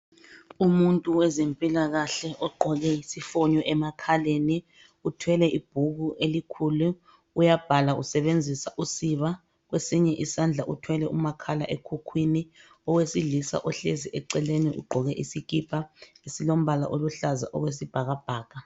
Umuntu wezempilakahle ogqoke isifonyo emakhaleni, uthwele ibhuku elikhulu, uyabhala usebenzisa usiba. Kwesinye isandla uthwele umakhala ekhukhwini. Owesilisa ohlezi eceleni ugqoke isikipa esilombala oluhlaza okwesibhakabhaka.